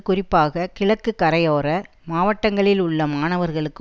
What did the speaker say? குறிப்பாக கிழக்கு கரையோர மாவட்டங்களில் உள்ள மாணவர்களுக்கு